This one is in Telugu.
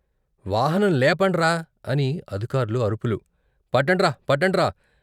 వాహనం లేపండ్రా అని అధికార్లు అరుపులు, పట్టండ్రా, పట్టండ్ర.